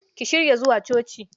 Ki shirya zuwa coci